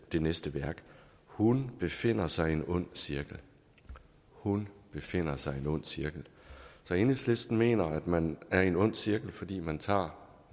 det næste værk hun befinder sig i en ond cirkel hun befinder sig i en ond cirkel enhedslisten mener at man er i en ond cirkel fordi man tager